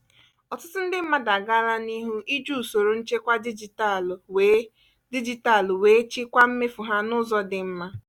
ọtụtụ ndị mmadụ agaala n'ihu iji usoro nchekwa dijitalụ wee dijitalụ wee chịkwaa mmefu ha n'ụzọ dị mma.